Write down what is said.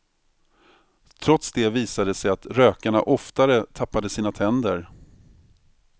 Trots det visade det sig att rökarna oftare tappade sina tänder.